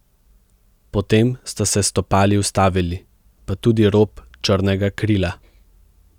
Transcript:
Potem sta se stopali ustavili, pa tudi rob črnega krila.